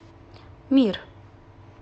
мир